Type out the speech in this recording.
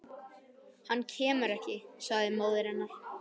Hann kemur ekki, sagði móðir hennar.